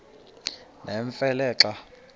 nemfe le xa